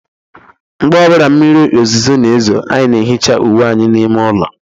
Mgbe ọ bụla mmiri ozuzo na-ezo, anyị na-ehicha uwe anyị n'ime ụlọ